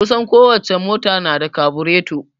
Kusan ko wace mota ta na da kabureto